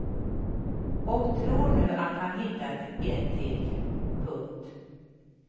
Och tror nu att han hittat ett till. punkt